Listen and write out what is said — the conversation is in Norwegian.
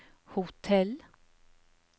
hotell